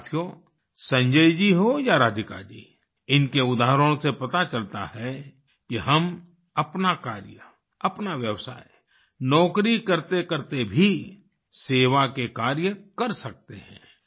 साथियो संजय जी हों या राधिका जी इनके उदाहरणों से पता चलता है कि हम अपना कार्य अपना व्यवसाय नौकरी करतेकरते भी सेवा के कार्य कर सकते हैं